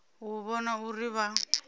u u vhona uri vha